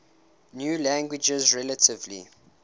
new languages relatively